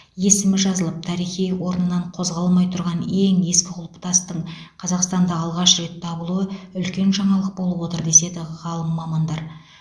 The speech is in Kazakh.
есімі жазылып тарихи орнынан қозғалмай тұрған ең ескі құлпытастың қазақстанда алғаш рет табылуы үлкен жаңалық болып отыр деседі ғалым мамандар